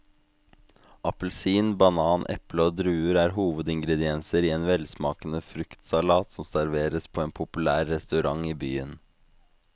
Appelsin, banan, eple og druer er hovedingredienser i en velsmakende fruktsalat som serveres på en populær restaurant i byen.